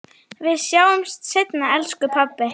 Við sjáumst seinna, elsku pabbi.